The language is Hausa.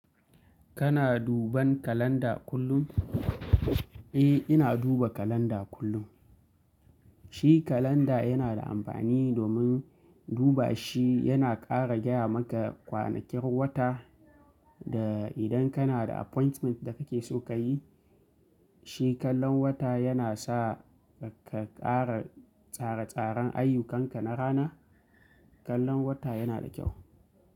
Kana duban kalanda kullum? Eh, ina duba kalanda kullum. Shi kalanda yana da amfani domin duba shi yana ƙara gaya maka kwanakin wata da idan kana da appointment da kake so ka yi, shi kallon wata yana sa ka ƙara tsare-tsaren ayyukanka na rana. Kallon wata yana da kyau.